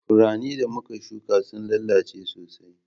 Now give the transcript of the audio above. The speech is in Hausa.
Furannin da muka shuƙa sun lalace sosai.